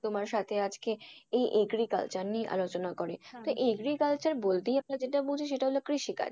তোমার সাথে আজকে এই agriculture নিয়ে আলোচনা করে। agriculture বলতেই আমরা যেটা বুঝি সেটা হল কৃষিকাজ।